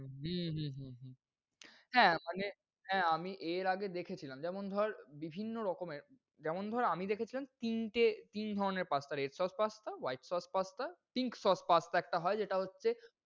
হম হম হম হম হ্যাঁ মানে হ্যাঁ আমি এর আগে দেখেছিলাম। যেমন ধর বিভিন্ন রকমের যেমন ধর আমি দেখেছিলাম তিনটে তিন ধরনের pasta, red sauce pasta, white sauce pasta, pink sauce pasta একটা হয় যেটা হচ্ছে